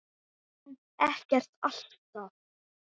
Samt ekkert alltaf.